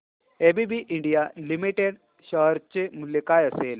ABB India Limited share चे मूल्य काय असेल